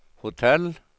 hotell